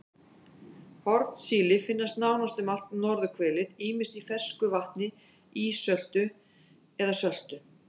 Hornsíli finnst nánast um allt norðurhvelið ýmist í fersku vatni, ísöltu eða söltu.